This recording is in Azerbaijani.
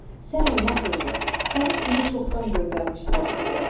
Sən olmasaydın, məni indi çoxdan göndərmişdilər Sibirə.